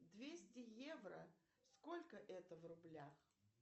двести евро сколько это в рублях